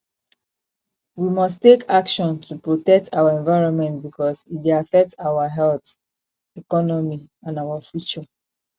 we must take action to protect our environment because e dey affect our health economy and our future